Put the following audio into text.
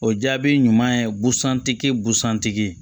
O jaabi ɲuman ye busan tigi busan tigi